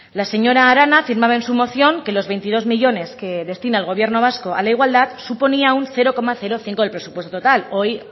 la señora arana afirmaba en su moción que los veintidós millónes que destina el gobierno vasco a la igualdad suponía un cero coma cinco por ciento del presupuesto total